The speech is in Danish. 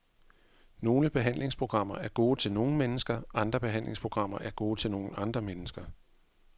Nogle behandlingsprogrammer er gode til nogle mennesker, andre behandlingsprogrammer er gode til nogle andre mennesker.